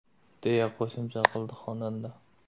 !”, deya qo‘shimcha qildi xonanda.